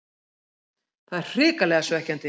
Það er hrikalega svekkjandi.